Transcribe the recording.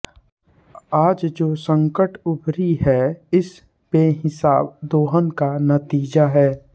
आज जो संकट ऊभरी है इस बेहिसाब दोहन का नतीजा है